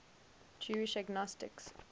jewish agnostics